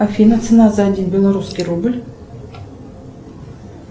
афина цена за один белорусский рубль